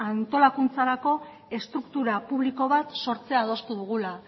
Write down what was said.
antolakuntzarako estruktura publiko bat sortzea adostu dugula